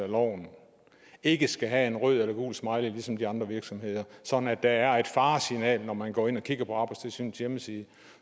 af loven ikke skal have en rød eller gul smiley ligesom de andre virksomheder sådan at der er et faresignal når man går ind og kigger på arbejdstilsynets hjemmeside